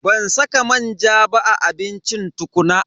Ban saka manja ba a abincin tukuna.